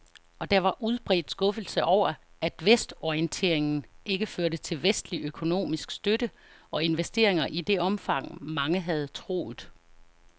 Og der var udbredt skuffelse over, at vestorienteringen ikke førte til vestlig økonomisk støtte og investeringer i det omfang, mange havde troet.